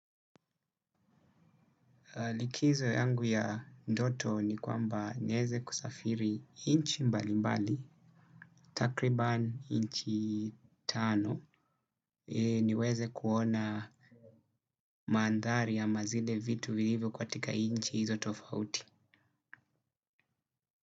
Likizo yangu ya ndoto ni kwamba nieze kusafiri nchi mbalimbali, takriban nchi tano, niweze kuona mandhari ama zile vitu vilivyo katika nchi hizo tofauti.